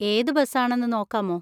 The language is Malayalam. ഏത് ബസ് ആണെന്ന് നോക്കാമോ?